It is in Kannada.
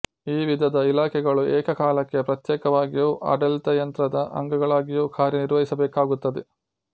ಈ ವಿಧದ ಇಲಾಖೆಗಳು ಏಕಕಾಲಕ್ಕೆ ಪ್ರತ್ಯೇಕವಾಗಿಯೂ ಆಡಳಿತಯಂತ್ರದ ಅಂಗಗಳಾಗಿಯೂ ಕಾರ್ಯ ನಿರ್ವಹಿಸಬೇಕಾಗುತ್ತದೆ